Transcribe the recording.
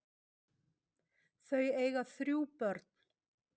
Þau eiga þrjú börn.